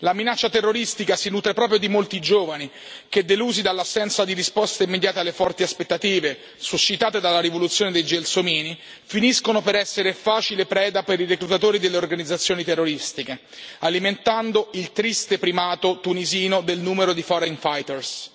La minaccia terroristica si nutre proprio di molti giovani che, delusi dall'assenza di risposte immediate alle forti aspettative suscitate dalla rivoluzione dei gelsomini, finiscono per essere facile preda per i reclutatori delle organizzazioni terroristiche, alimentando il triste primato tunisino del numero di foreign fighters